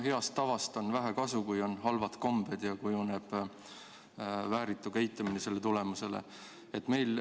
Heast tavast on vähe kasu, kui on halvad kombed ja selle tagajärjel kujuneb vääritu käitumine.